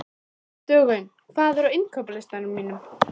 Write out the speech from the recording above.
Stjána og tók nokkur dansspor með hann.